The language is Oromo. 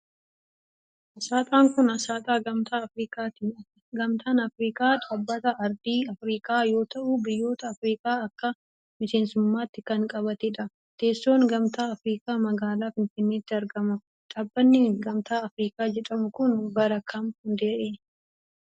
Asxaan kun, asxaa Gamtaa Afriikaati. Gamtaan afriikaa, dhaabbata aardii afriikaa yoo ta'u, biyyoota afriikaa akka miseensummaatti kan qabatee dha. Teessoon, Gamtaa Afriikaa magaalaa Finfinneetti argama. Dhaabbanni Gamtaa Afriikaa jedhamu kun, bara kam hundaa'e?